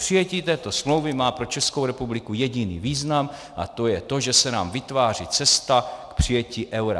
Přijetí této smlouvy má pro Českou republiku jediný význam, a to je to, že se nám vytváří cesta k přijetí eura.